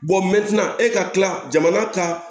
e ka tila jamana ka